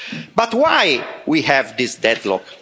But why do we have this deadlock?